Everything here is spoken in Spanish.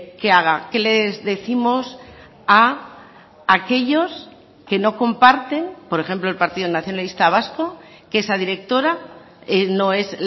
que haga qué les décimos a aquellos que no comparten por ejemplo el partido nacionalista vasco que esa directora no es